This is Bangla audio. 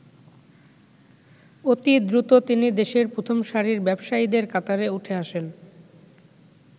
অতিদ্রুত তিনি দেশের প্রথম সারির ব্যবসায়ীদের কাতারে উঠে আসেন।